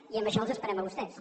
i en això els esperem a vostès